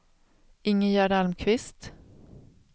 Ingegärd Almqvist